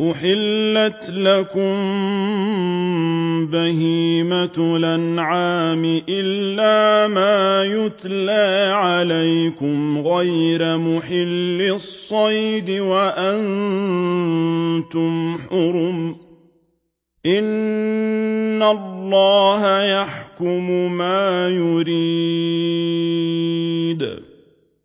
أُحِلَّتْ لَكُم بَهِيمَةُ الْأَنْعَامِ إِلَّا مَا يُتْلَىٰ عَلَيْكُمْ غَيْرَ مُحِلِّي الصَّيْدِ وَأَنتُمْ حُرُمٌ ۗ إِنَّ اللَّهَ يَحْكُمُ مَا يُرِيدُ